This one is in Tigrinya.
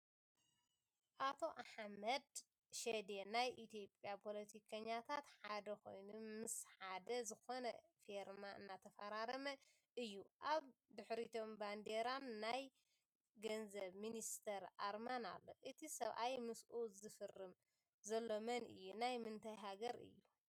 ኣቶ ኣሕመድ ሽዴ ናይ ኢትዮጅያ ፖለቲከኛታት ሓደ ኮይኑ ምሓደ ዝኮነ ፊርማ እናተፈራረመ እዩ ኣብ ድሕሪቶም ባንዴራንናይ ገንዘብ ሚኒስተር ኣርማን ኣሎ። እቲ ሰብኣይ ምስኡ ዝፍርም ዘሎ መን እዩ? ናይ ምንታይ ሃገር እዩ ?